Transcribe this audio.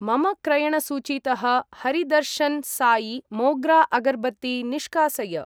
मम क्रयणसूचीतः हरिदर्शन् साई मोग्रा अगर्बत्ती निष्कासय।